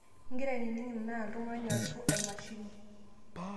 ingira aning' anaa oltungani ashu emashini